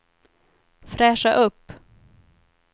fräscha upp